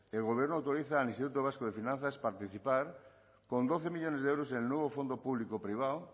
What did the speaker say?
el gobierno autoriza al instituto vasco de finanzas participar con doce millónes de euros el nuevo fondo público privado